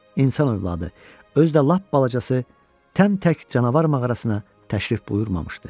İnsan övladı, özü də lap balacası təmtək canavar mağarasına təşrif buyurmamışdı.